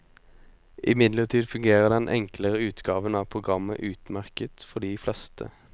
Imidlertid fungerer den enklere utgaven av programmet utmerket for de fleste.